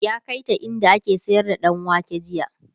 ya kaita inda ake sayar da ɗanwake jiya